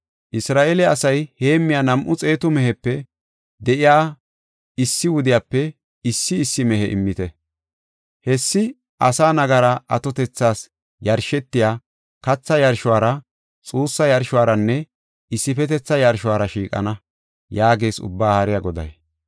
Isra7eele asay heemmiya nam7u xeetu mehepe de7iya issi wudiyape issi issi mehe immite. Hessi asaa nagara atotethas yarshetiya, katha yarshora, xuussa yarshoranne issifetetha yarshora shiiqana” yaagees Ubbaa Haariya Goday.